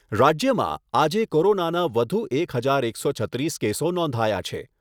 રાજ્યમાં આજે કોરોનાના વધુ એક હજાર એકસો છત્રીસ કેસો નોંધાયા છે.